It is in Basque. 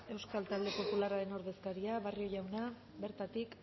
euskal talde popularraren ordezkaria barrio jauna bertatik